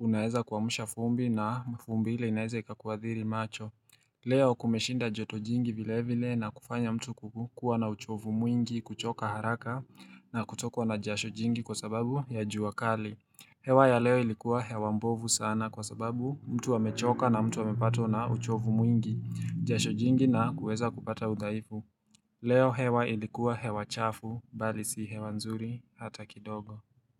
unaeza kuamsha vumbi na vumbi ile inaweza kakuathiri macho. Leo kumeshinda joto jingi vile vile na kufanya mtu kukuwa na uchovu mwingi, kuchoka haraka. Na kutokwa na jasho jingi kwa sababu ya jua kali. Hewa ya leo ilikuwa hewa mbovu sana kwa sababu mtu amechoka na mtu amepatwa na uchovu mwingi, jasho jingi na kuweza kupata udhaifu. Leo hewa ilikuwa hewa chafu, bali si hewa nzuri hata kidogo.